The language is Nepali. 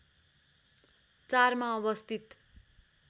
४ मा अवस्थित